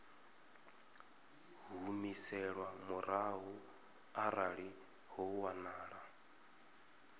humiselwa murahu arali ho wanala